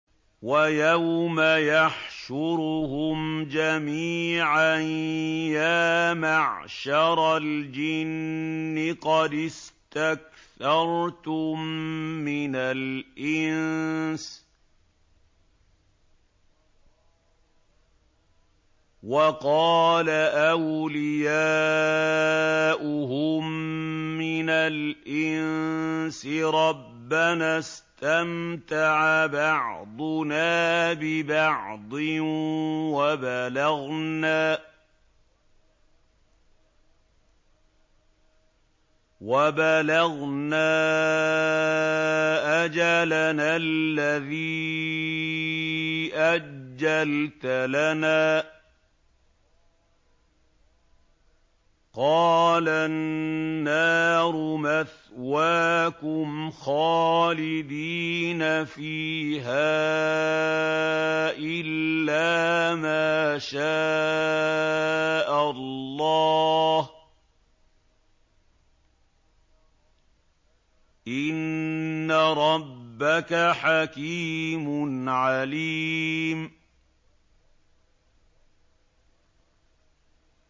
وَيَوْمَ يَحْشُرُهُمْ جَمِيعًا يَا مَعْشَرَ الْجِنِّ قَدِ اسْتَكْثَرْتُم مِّنَ الْإِنسِ ۖ وَقَالَ أَوْلِيَاؤُهُم مِّنَ الْإِنسِ رَبَّنَا اسْتَمْتَعَ بَعْضُنَا بِبَعْضٍ وَبَلَغْنَا أَجَلَنَا الَّذِي أَجَّلْتَ لَنَا ۚ قَالَ النَّارُ مَثْوَاكُمْ خَالِدِينَ فِيهَا إِلَّا مَا شَاءَ اللَّهُ ۗ إِنَّ رَبَّكَ حَكِيمٌ عَلِيمٌ